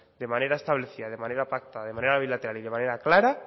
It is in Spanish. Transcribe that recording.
de manera establecida de manera pactada de manera bilateral y de manera clara